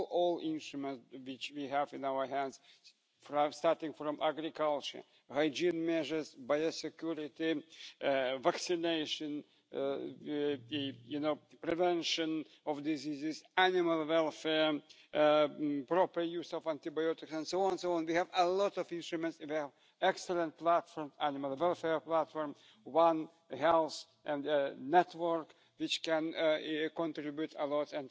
citizens and for businesses looking to expand to new markets. Therefore, as the rapporteur on this legislation, I needed to understand where the challenges lie in order to address the issues in the interests of our citizens. The paradox we discovered during our work was that the problem was not always